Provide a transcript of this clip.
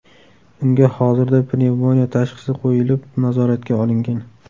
Unga hozirda pnevmoniya tashxisi qo‘yilib, nazoratga olingan.